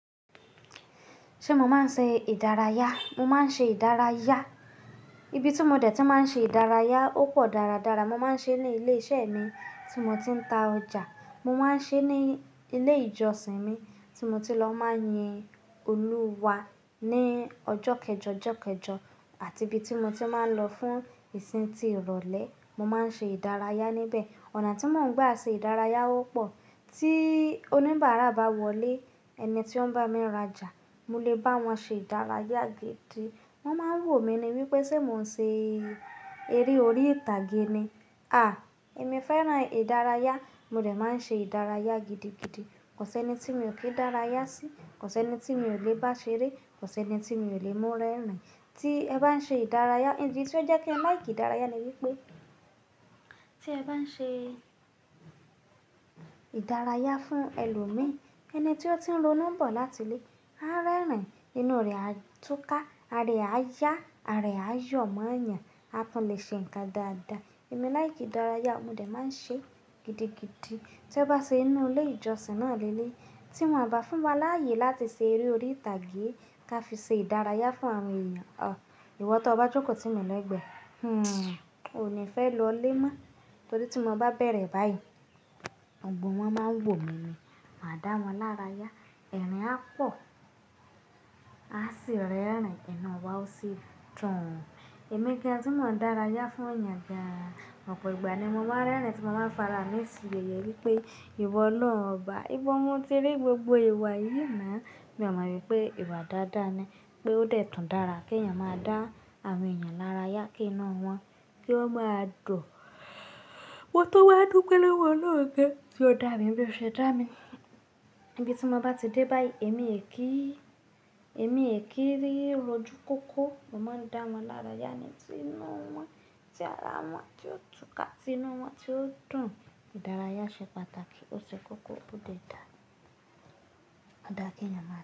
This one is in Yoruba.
Ṣé mo máa ń ṣe ìdárayá? Mo máa ń ṣe ìdárayá. Ibi tí mo dẹ̀ tíì máa ń ṣe ìdárayá ó pọ̀ dáradára. Mo máa ń ṣe ní ilé iṣẹ́ mi tí mo ti ń ta ọjà. Mo máa ń ṣe ní ilé ìjọsìn mi tí mo ti lọ máa ń yin Olúwa ní ọjọ́ kẹjọ, ọjọ́ kẹjọ àti ibi tí mo ti máa ń lọ fún ìsìn ti ìrọ̀lẹ́, mo máa ń ṣe ìdárayá níbẹ̀. Ọ̀nà tí mò ń gba ṣe ìdárayá ó pọ̀. Tí oníbàárà bá wọlé, ẹni tí ó ń bá mi rajà, mo lè bá wọn ṣe ìdárayá gidi. Wọ́n máa ń wò mí ní wípé ṣé mò ń ṣe eré orí ìtàgé ni? À! Èmi fẹ́ràn ìdárayá, mo dè máa ń ṣe ìdárayá gidigidi. Kò sí ẹni tí mi ò kí dárayá sí, kò sí ẹni tí mi ò lè bá ṣeré, kò sí ẹni tí mi ò lè mú rẹ́rìn. Tí ẹ bá ń ṣe ìdárayá, ìdí tí ó jẹ́ kín ẹ láì kí ìdárayá ni wípé, tí ẹ bá ń ṣe ìdárayá fún ẹlòmí, ẹni tí ó ti ń ronú bọ̀ láti ilé, a rẹ́rìn, inú rẹ̀ á túká, àra e ayá, àra e aayo mo yàn, a tún lè ṣe ǹkan dáadáa. Èmi láì kí ìdárayá, mo lè máa ń ṣe gidigidi. Tí ó bá ṣe ínú ilé ìjọsìn náà leleyii, tí wọ́n bá fún wa láàyè láti ṣe eré orí ìtàgé ka fi ṣe ìdárayá fún àwọn èèyàn, ò, ìwọ tó bá jókòó tí mi legbẹ́, hm, ò ní fẹ́ lọlé mọ́. Torí tí mo bá bẹ̀rẹ̀ báyìí, gbogbo wọn máa ń wò mí, màá dá wọn lárayá, ẹ̀rín á pọ̀, á sì rẹ́rìn inú wa ó sì dùn. Ẹ̀mí gan tí mò ń dárayá fún èèyàn gan ọ̀pọ̀ ìgbà ni mo máa ń rẹ́rìn tí mo máa ń farami sí yèyè wípé ìwọ oloun ọba, ìbọ mo ti rí gbogbo ìwà yìí ná. Mi ò mọ̀ wípé ìwà dáadáa ni, pé ó dẹ̀ tùn dára kí ẹ̀yàn máa dá àwọn èèyàn lárayá, kí inú wọn, kí o máa dùn. Mọ́ tún wá dúpẹ́ lọ́wọ́ ọlọ́run gan, tí ó dá mi bí o ṣe dá mi. Ibi tí mo bá ti dé báyìí, èmi è kí, èmi è kí rí rójú kókó, mo máa ń dá wọn lárayá ni. Tí inú wọn ti ara wọn ti ó túká, tí inú wọn ti ó dùn, ìdárayá ṣe pàtàkì. Ó ṣe kókó ó dé dá, ó dá kí ẹ̀yàn máa.